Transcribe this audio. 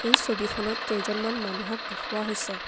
এই ছবিখনত কেইজনমান মানুহক দেখুওৱা হৈছে।